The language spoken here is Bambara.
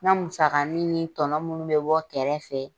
N ka musakanin ni tɔnɔ minnu bɛ bɔ kɛrɛfɛ.